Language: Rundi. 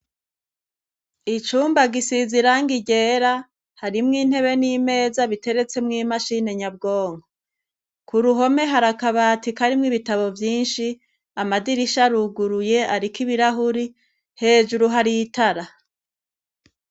Icumba gisize irangi ryera harimwo intebe n'imeza biteretse mw'imashine nyabwonko. Ku ruhome hari akabati karimwo ibitabo vyinshi ,amadirisha aruguruye ariko ibirahuri hejuru hari itara.